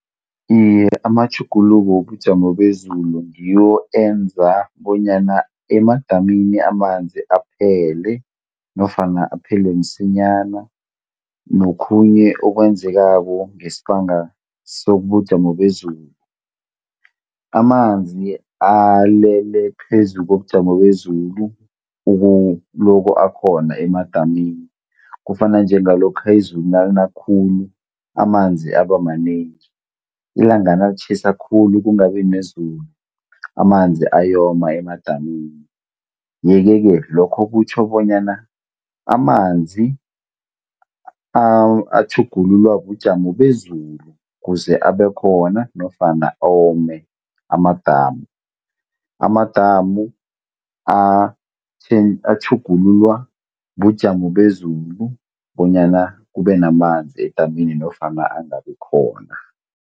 Iye amatjhuguluko wobujamo bezulu ngiwo enza bonyana emadamini amanzi aphele nofana aphele msinyana nokhunye okwenzekako ngesibanga sobujamo bezulu. Amanzi alele phezu kobujamo bezulu ukuloko akhona emadamini. Kufana njengalokha izulu nalina khulu amanzi aba manengi. Ilanga nalitjhisa khulu kungabi nezulu amanzi ayoma emadamini, ye-ke ke lokho kutjho bonyana amanzi atjhugululwa bujamo bezulu kuze abekhona nofana ome amadamu. Amadamu atjhugululwa bujamo bezulu bonyana kube namanzi edamini nofana angabikhona.